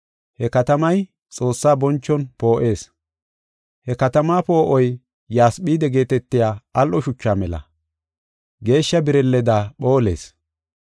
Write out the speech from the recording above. He katamay Xoossaa bonchon poo7ees. He katamaa poo7oy yasphide geetetiya al7o shuchaa mela; geeshsha birilleda phoolees.